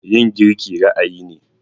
Yin girki ra'ayi ne.